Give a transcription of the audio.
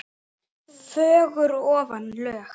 fögur ofan lög.